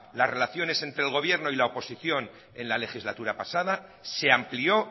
las relaciones entre el gobierno y la oposición en la legislatura pasada se amplió